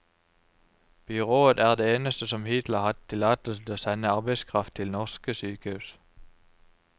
Byrået er det eneste som hittil har hatt tillatelse til å sende arbeidskraft til norske sykehus.